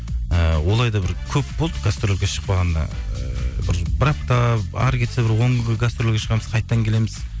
і олай да бір көп болды гастрольге шықпағанға ы бір апта әрі кетсе бір он күнге гастрольге шығамыз қайтадан келеміз